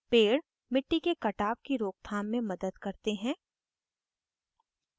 पेड़ मिट्टी के कटाव की रोकथाम में मदद करते हैं